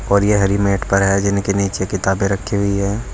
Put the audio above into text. और यह हरी मैट पर है जिनके नीचे किताबें रखी हुई हैं।